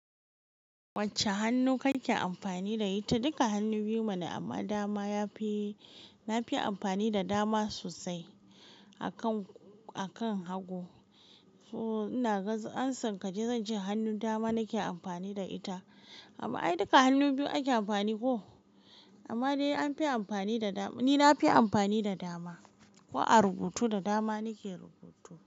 Wacce hannu kake amfani da ita? Duka hannu biyu mana amma dama yafi, nafi amfani da dama sosai a kan, a kan hagu. So ina ga amsan ka dai zan ce hannun dama nake amfani da ita. Amma ai duka hannu biyu ake amfani ko. Amma dai an fi amfani da da-- ni nafi amfani da dama. Ko a rubutu da dama nake rubutu.